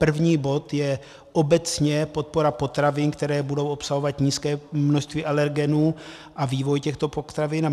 První bod je obecně podpora potravin, které budou obsahovat nízké množství alergenů, a vývoj těchto potravin.